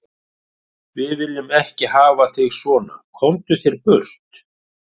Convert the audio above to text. Við viljum ekki hafa þig svo, komdu þér burt.